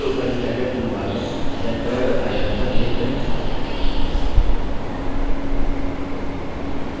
सबसे ऊपर standard toolbar में centered icon पर click करें